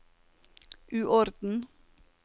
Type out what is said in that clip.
uorden